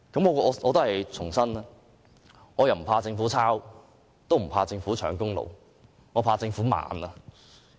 我重申，我不怕政府抄襲，也不怕政府搶功勞，我只是怕政府慢。